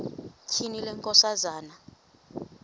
tyhini le nkosikazi